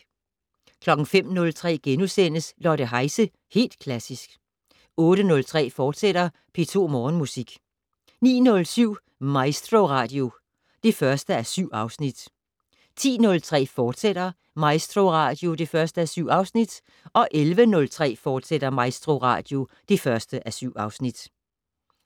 05:03: Lotte Heise - Helt Klassisk * 08:03: P2 Morgenmusik, fortsat 09:07: MaestroRadio (1:7) 10:03: MaestroRadio, fortsat (1:7) 11:03: MaestroRadio, fortsat (1:7)